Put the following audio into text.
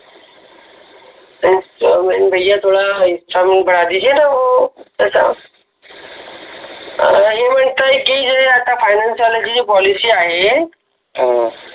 instalment भैया थोडा instalment बडा दिजीये ना हो तसं हे म्हणतात की ते आता फायनान्स पोलिसी आहे हा